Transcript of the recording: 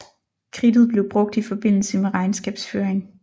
Kridtet blev brugt i forbindelse med regnskabsføring